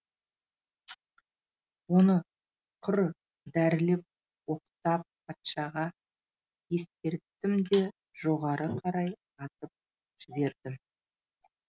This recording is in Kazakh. оны құр дәрілеп оқтап патшаға ескерттім де жоғары қарай атып жібердім